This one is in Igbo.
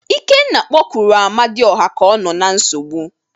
Ikenna kpọkuru Amadiọha ka ọ nọ na nsogbu.